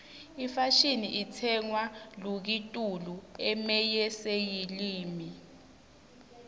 ifashini itsenqwa luakitulu umeyeseyilimi